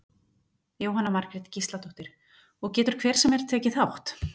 Jóhanna Margrét Gísladóttir: Og getur hver sem er tekið þátt?